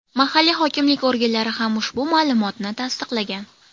Mahalliy hokimlik organlari ham ushbu ma’lumotni tasdiqlagan.